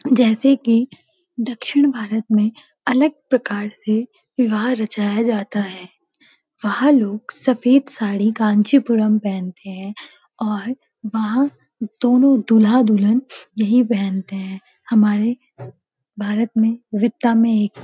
जैसे कि दक्षिण भारत में अलग प्रकार से विवाह रचाया जाता हैं वहाँ लोग सफेद साड़ी कांचीपुरम पहनते हैं और वहां दोनों दूल्‍हा-दुल्‍हन यही पहनते हैं हमारे भारत में विविधता में एक --